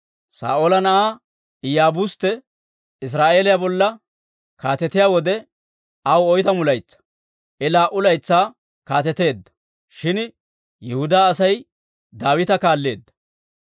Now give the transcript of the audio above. Saa'oola na'aa Iyaabustte Israa'eeliyaa bolla kaatetiyaa wode aw oytamu laytsaa; I laa"u laytsaa kaateteedda; shin, Yihudaa Asay Daawita kaalleedda.